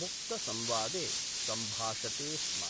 मुक्तसंवादे सम्भाषते स्म।